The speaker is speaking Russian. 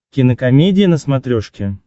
кинокомедия на смотрешке